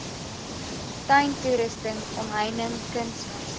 tuintoerusting omheining kunsmis